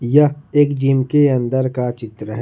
यह एक जिम के अंदर का चित्र है।